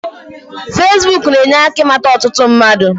Fesibuk na-enye aka ịmata ọtụtụ mmadu